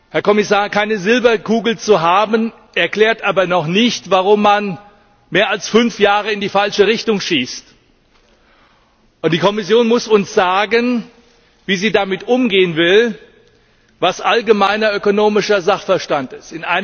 Herr Kommissar, keine Silberkugel zu haben, erklärt aber noch nicht, warum man mehr als fünf Jahre in die falsche Richtung schießt. Die Kommission muss uns sagen, wie sie mit dem umgehen will, was allgemeiner ökonomischer Sachverstand ist.